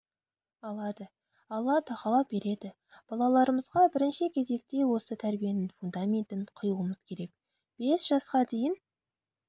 алады алла тағала береді балаларымызға бірінші кезекте осы тәрбиенің фундаментін құюымыз керек бес жасқа дейін